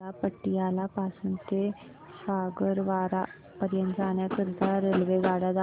मला पटियाला पासून ते फगवारा पर्यंत जाण्या करीता आगगाड्या दाखवा